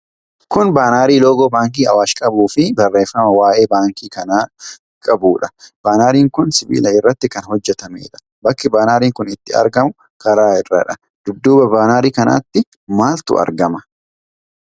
Kun baanarii loogoo baankii Awaash qabuu fi barreefama waa'eee baankii kanaa qabuudha. Baanariin kun sibiila irratti kan hojjatameedha. Bakki baanariin kun itti argamu karaa irradha. Dudduuba baanarii kanaatti maaltu argama?